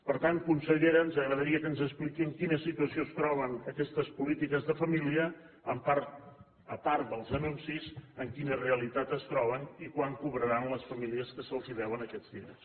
per tant consellera ens agradaria que ens expliqués en quina situació es troben aquestes polítiques de família a part dels anuncis en quina realitat es troben i quan cobraran les famílies que se’ls deuen aquests diners